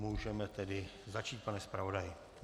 Můžeme tedy začít, pane zpravodaji.